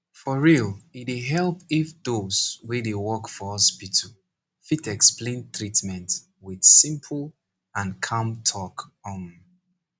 for real e dey help if those wey dey work for hospital fit explain treatment with simple and calm talk um